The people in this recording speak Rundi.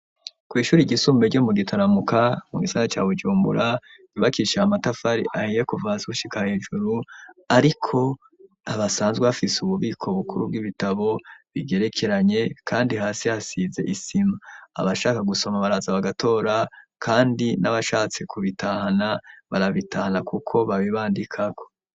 Kw'ishuri ryisumbuye ryo mu Gitaramuka mu gisagara ca Bujumbura ryubakishije amatafari ahiye kuva hasi gushika hejuru, ariko basanzwe bafise ububiko bukuru bw'ibitabo bigerekeranye kandi hasi hasize isima, abashaka gusoma baraza bagatora kandi n'abashatse kubitahana barabitahana kuko babibandikako.